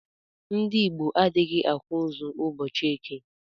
Ndi igbo adighi akwa ozu ubọchi eke.